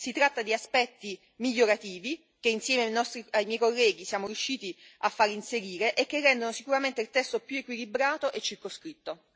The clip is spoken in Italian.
Si tratta di aspetti migliorativi, che insieme ai miei colleghi siamo riusciti a far inserire, e che rendono sicuramente il testo più equilibrato e circoscritto.